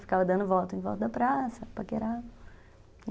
Ficava dando volta em volta da praça, paquerava.